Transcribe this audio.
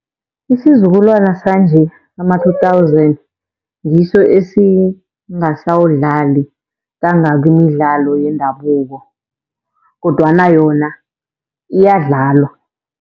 Isizukulwana sanje ama-two thousand ngiso esingasawudlali kangako imidlalo yendabuko, kodwana yona iyadlalwa.